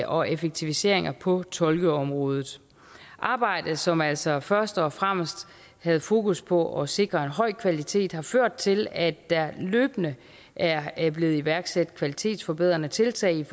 og effektiviseringer på tolkeområdet arbejdet som altså først og fremmest havde fokus på at sikre en høj kvalitet har ført til at der løbende er blevet iværksat kvalitetsforbedrende tiltag i